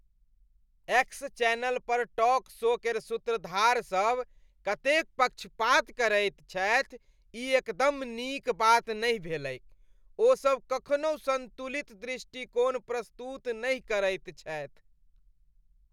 X channel पर talk show केर सूत्रधार सब कतेक पक्षपात करैत छथि, ई एकदम नीक बात नहि भेलैक। ओसब कखनहु सन्तुलित दृष्टिकोण प्रस्तुत नहि करैत छथि।